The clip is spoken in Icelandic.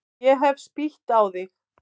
Ég hef spýtt á þig.